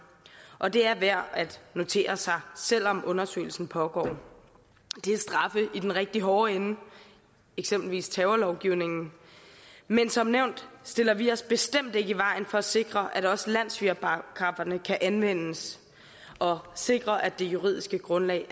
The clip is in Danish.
og det er værd at notere sig selv om undersøgelsen pågår det er straffe i den rigtig hårde ende eksempelvis efter terrorlovgivningen men som nævnt stiller vi os bestemt ikke i vejen for at sikre at også landssvigerparagrafferne kan anvendes og at sikre at det juridiske grundlag